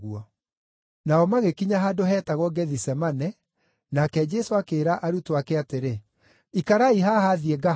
Nao magĩkinya handũ heetagwo Gethisemane, nake Jesũ akĩĩra arutwo ake atĩrĩ, “Ikarai haha thiĩ ngahooe.”